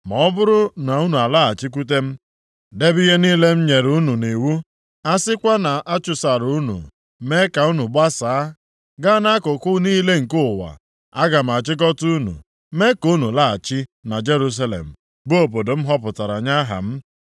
Ma ọ bụrụ na unu alaghachikwute m, debe ihe niile m nyere unu nʼiwu, a sikwa na a chụsara unu mee ka unu gbasaa ga nʼakụkụ niile nke ụwa, aga m achịkọta unu mee ka unu laghachi na Jerusalem bụ obodo m họpụtara nye Aha m.’